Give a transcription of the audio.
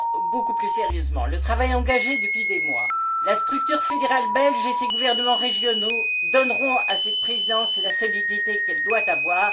Beaucoup plus sérieusement, le travail engagé depuis des mois, la structure fédérale belge et ses gouvernements régionaux donneront à cette présidence la solidité qu'elle doit avoir.